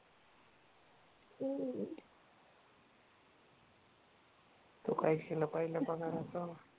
तु काय केलं पाहिल्या पगाराच?